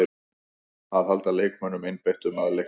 Að halda leikmönnunum einbeittum að leiknum.